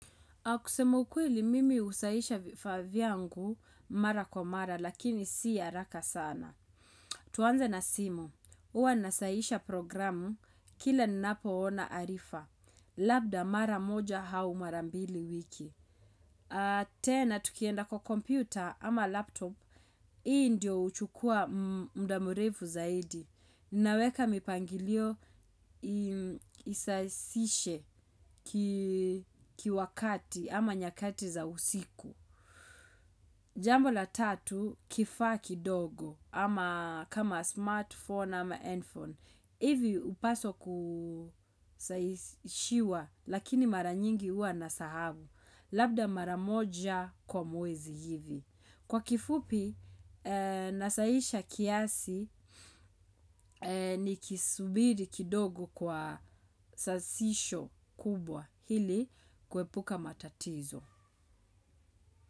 Kusema ukweli mimi husahihisha vifaa vyangu mara kwa mara lakini si haraka sana. Tuanze na simu, huwa nasahisha programu, kilaninapo ona arifa. Labda mara moja au mara mbili wiki. Tena tukienda kwa kompyuta ama laptop. Hii ndio huchukuwa muda mrefu zaidi. Ninaweka mipangilio isahihishe kiwakati ama nyakati za usiku. Jambo la tatu kifaa kidogo ama kama smartphone ama headphone. Hivi hupswa kusahihishiwa lakini mara nyingi huwa nasahau. Labda mara moja kwa mwezi hivi. Kwa kifupi, nasahihisha kiasi ni kisubiri kidogo kwa sahihisho kubwa ili kepuka matatizo.